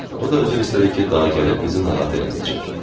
O da üzr istədi ki, daha gəlib bizi narahat eləməyəcək.